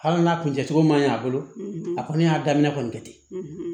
Hali n'a kun cɛcogo man ɲɛ a bolo a kɔni y'a daminɛ kɔni kɛ ten